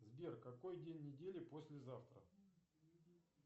сбер какой день недели послезавтра